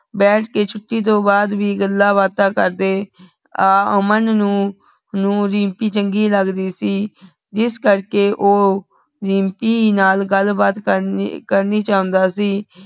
ਬੈਠ ਕੇ ਛੁਟੀ ਤੋਂ ਬਾਅਦ ਵੀ ਗੱਲਾਂ ਬਾਤਾਂ ਕਰਦੇ ਅਹ ਅਮਨ ਨੂ ਨੂ ਰਿਮ੍ਪੀ ਚੰਗੀ ਲਗਦੀ ਸੀ ਜਿਸ ਕਰ ਕੇ ਉਹ ਰਿਮ੍ਪੀ ਨਾਲ ਗਲ ਬਾਤ ਕਰਕਰਨੀ ਚੌਂਦਾ ਸੀ